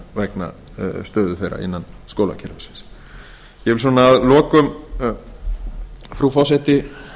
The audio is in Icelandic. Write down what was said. vegna stöðu þeirra innan skólakerfisins ég vil að lokum frú forseti